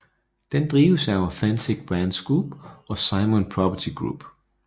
Den drives af Authentic Brands Group og Simon Property Group